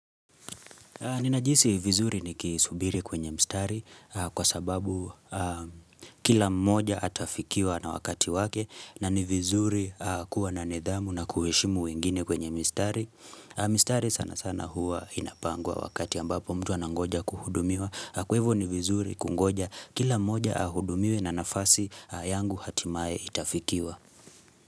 Ninajihisi vizuri ni kisubiri kwenye mistari kwa sababu kila mmoja atafikiwa na wakati wake na ni vizuri kuwa na nidhamu na kuhishimu wengine kwenye mistari. Mistari sana sana huwa inapangwa wakati ambapo mtu anangoja kuhudumiwa. Kwevo ni vizuri kungoja kila mmoja ahudumiwe na nafasi yangu hatimae itafikiwa.